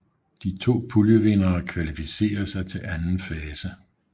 De to puljevindere kvalificerer sig til anden fase